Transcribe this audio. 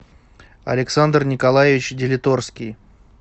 александр николаевич делиторский